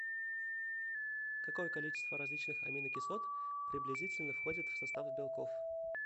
какое количество различных аминокислот приблизительно входит в состав белков